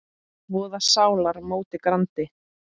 voða sálar móti grandi.